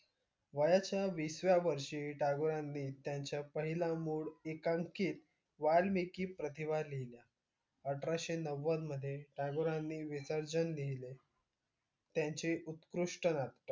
वयाच्या विसव्या वर्षी टागोरांनी त्यांच्या पहिल्या मूड एकांकित वाल्मिकी प्रतिभा लिहिली अठराशे नव्वद मद्धे टागोरांनी विसांजन लिहिले त्यांचे उत्कृष्ट नाटक